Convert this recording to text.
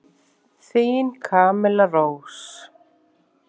Þín Camilla Rós.